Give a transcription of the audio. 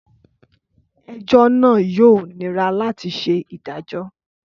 Ẹjọ naa yoo nira lati ṣe idajọ.